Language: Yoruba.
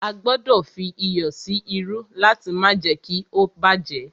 A gbọdọ̀ fí iyọ̀ sí irú láti má jé kí ó bá jẹ́.